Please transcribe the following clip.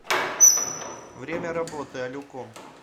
время работы алюком